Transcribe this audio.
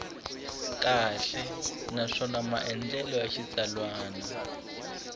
kahle naswona maandlalelo ya xitsalwana